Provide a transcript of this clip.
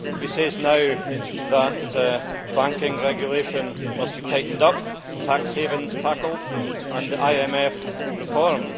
He says now that banking regulation must be tightened up, tax havens tackled and the IMF reformed.